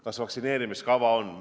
Kas vaktsineerimiskava on?